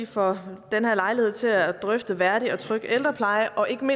for nuværende